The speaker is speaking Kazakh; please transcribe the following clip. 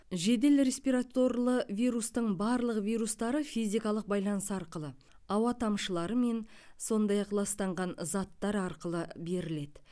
жедел респираторлы вирустың барлық вирустары физикалық байланыс арқылы ауа тамшыларымен сондай ақ ластанған заттар арқылы беріледі